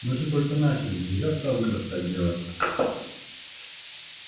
мы же только начали нельзя сразу бросать дело